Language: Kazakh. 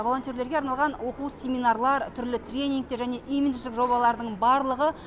волонтерлерге арналған оқу семинарлар түрлі тренингтер және имидждік жобалардың барлығы